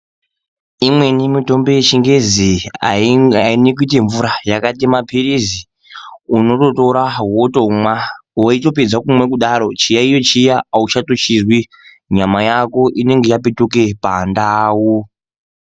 Imweni mitombo yechingezi aimwiki kuite mvura yakaite mapilizi unototora wotomwa woitopedze kumwa kudaro chiyaiyo chiya auchachizwi nyama yako inonga yapetuka pandau.